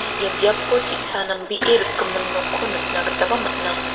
ia biapo te·sa nambee rikgimin nokko nikna gitaba man·a.